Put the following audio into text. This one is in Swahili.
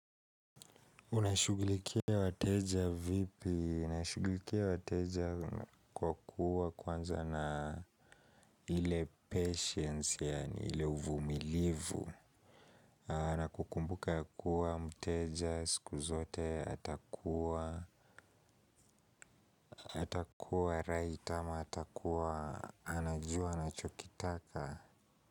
Unashugulikia wateja vipi? Ninashugulikia wateja kwa kuwa kwanza na ile patience, yani ile uvumilivu. Na kukumbuka kuwa mteja siku zote atakuwa, atakuwa rait ama, atakuwa anajua, anachokitaka.